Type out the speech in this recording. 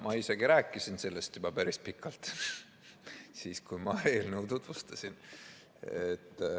Ma isegi rääkisin sellest juba päris pikalt, siis kui ma eelnõu tutvustasin.